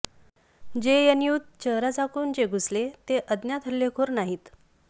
जेएनयूत चेहरा झाकून जे घुसले ते अज्ञात हल्लेखोर नाहीत